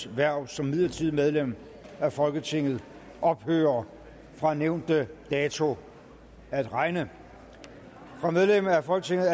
hverv som midlertidigt medlem af folketinget ophører fra nævnte dato at regne fra medlem af folketinget